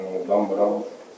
Mən ordan qalmıram.